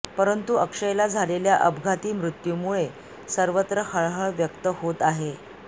परंतु अक्षयला झालेल्या अपघाती मृत्यूमुळे सर्वत्र हळहळ व्यक्त होत आहे